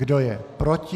Kdo je proti?